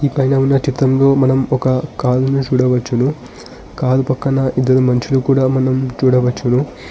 ఈ పైన ఉన్న చిత్రంలో మనం ఒక కారుని చూడవచ్చును. కారు పక్కన ఇద్దరు మనుషులు కూడా మనం చూడవచ్చును.